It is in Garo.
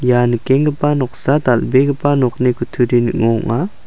ia nikenggipa noksa dal·begipa nokni kutturi ning·o ong·a.